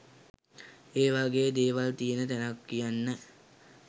ඒ වගේ දේවල් තියෙන තැනක් කියන්න